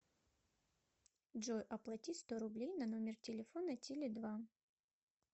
джой оплати сто рублей на номер телефона теле два